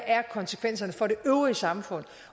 konsekvenserne er for det øvrige samfund